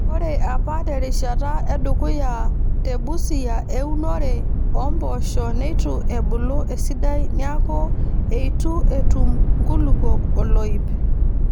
Ore apa terishata edukuya te Busia eunore oo mpoosho neitu ebulu esidai neeku eitu etum nkulupuok oloip.